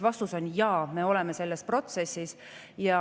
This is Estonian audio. Vastus on jah, me oleme selles protsessis.